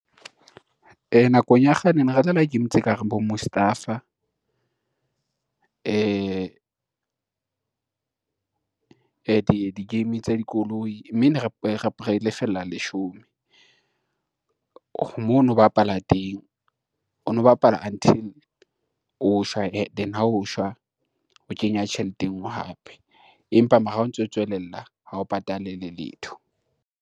Nakong ya kgale ne re dlala game tse kareng bo Mustafa di-game tsa dikoloi mme ne re lefella leshome. Mo no bapala teng, o no bapala until o shwa and then ha o shwa o kenya tjhelete e ngwe hape, empa mara ha o ntso tswelella ha o patale le letho.